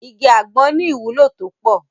Igi àgbọn ní ìwúlò tó pọ̀.